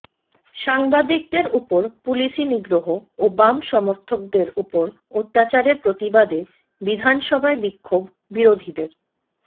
সাংবাদিকদের উপর পুলিসি নিগ্রহ ও বাম সমর্থকদের উপর অত্যাচারের প্রতিবাদে বিধানসভায় বিক্ষোভ বিরোধীদের